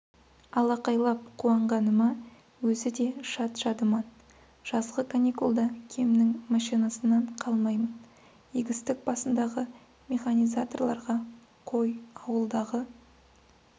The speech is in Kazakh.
алақайлап қуанғаныма өзі де шат-шадыман жазғы каникулда кемнің машинасынан қалмаймын егістік басындағы механизаторларға қой ауылдағы